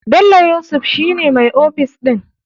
Bello yusuf shi ne mai ofis ɗin.